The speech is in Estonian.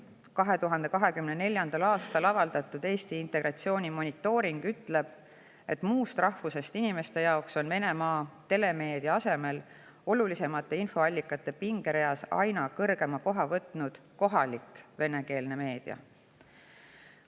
2024. aastal avaldatud Eesti integratsiooni monitooring ütleb, et muust rahvusest inimeste jaoks on olulisemate infoallikate pingereas Venemaa telemeedia asemel aina kõrgemale kohale jõudnud kohalik venekeelne meedia.